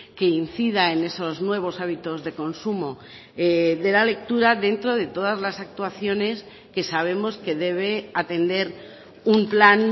que incida en esos nuevos hábitos de consumo de la lectura dentro de todas las actuaciones que sabemos que debe atender un plan